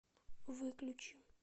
выключи